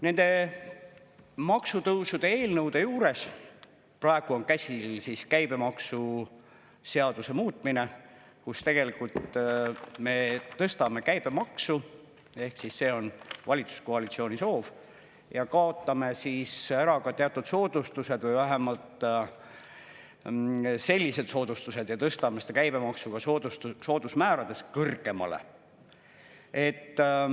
Nende maksutõusude eelnõude juures praegu on käsil käibemaksuseaduse muutmine, kus tegelikult me tõstame käibemaksu – see on valitsuskoalitsiooni soov –, kaotame ära teatud soodustused ja tõstame seda käibemaksu ka soodusmääradest kõrgemale.